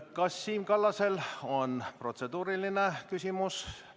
Kas Siim Kallasel on protseduuriline küsimus?